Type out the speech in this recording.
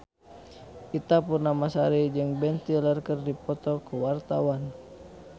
Ita Purnamasari jeung Ben Stiller keur dipoto ku wartawan